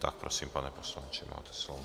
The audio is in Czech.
Tak prosím, pane poslanče, máte slovo.